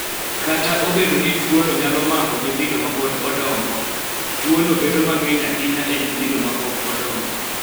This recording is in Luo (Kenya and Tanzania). Kata obedo ni tuono nyalo mako nyithindo ma pod odongo, tuono bedo mang�eny ahinya e nyithindo ma pok odongo.